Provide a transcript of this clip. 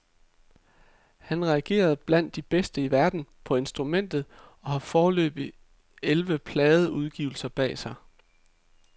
Han rangerer blandt de bedste i verden på instrumentet og har foreløbig elleve pladeudgivelser bag sig.